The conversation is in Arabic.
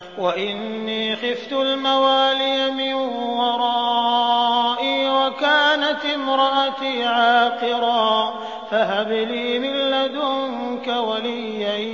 وَإِنِّي خِفْتُ الْمَوَالِيَ مِن وَرَائِي وَكَانَتِ امْرَأَتِي عَاقِرًا فَهَبْ لِي مِن لَّدُنكَ وَلِيًّا